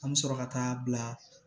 An bɛ sɔrɔ ka taa bila